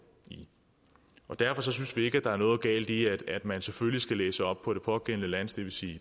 og derfor synes vi ikke der er noget galt i at man selvfølgelig skal læse op på det pågældende lands det vil sige i